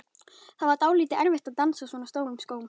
Það var dálítið erfitt að dansa á svona stórum skóm.